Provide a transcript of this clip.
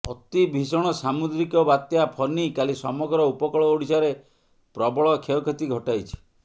ଅତି ଭୀଷଣ ସାମୁଦ୍ରିକ ବାତ୍ୟା ଫନି କାଲି ସମଗ୍ର ଉପକୂଳ ଓଡ଼ିଶାରେ ପ୍ରବଳ କ୍ଷୟକ୍ଷତି ଘଟାଇଛି